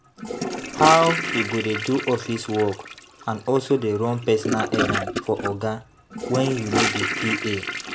How you go dey do office work and also dey run personal errand for oga when you no be PA